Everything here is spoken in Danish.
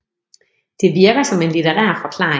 Det virker som en litterær forklaring